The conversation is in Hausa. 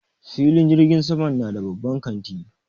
Filin jirgin saman na da babban kanti.